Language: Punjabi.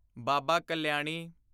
ਬਾਬਾ ਕਲਿਆਣੀ